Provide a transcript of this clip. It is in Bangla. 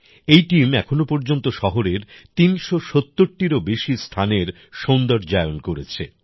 এই টিম এখনো পর্যন্ত শহরের ৩৭০ টিরও বেশি স্থানের সৌন্দর্যায়ন করেছে